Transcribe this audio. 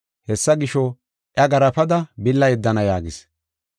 Hessa gisho, iya garaafada billa yeddana” yaagis.